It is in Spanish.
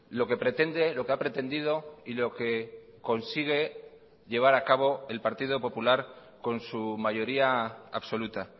lo que pretende lo que ha pretendido y lo que consigue llevar acabo el partido popular con su mayoría absoluta